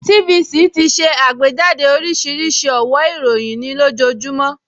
TVC ti ṣe àgbéjáde oríṣiríṣi ọ̀wó ìròyìn nih ojoojúmọ́